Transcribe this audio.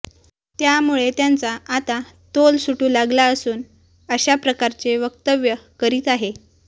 त्यामुळे त्यांचा आता तोल सुटू लागला असून अशा प्रकारचे वक्तव्य करीत आहे